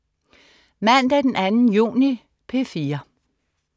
Mandag den 2. juni - P4: